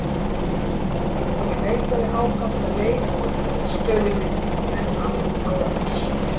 Ég leitaði ákaft að leið út úr stöðu minni, en án árangurs.